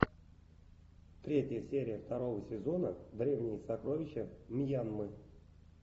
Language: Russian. третья серия второго сезона древние сокровища мьянмы